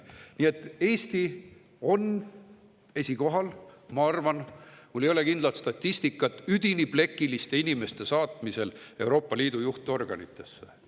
Nii et Eesti on esikohal – ma arvan, mul ei ole kindlat statistikat – üdini plekiliste inimeste saatmisel Euroopa Liidu juhtorganitesse.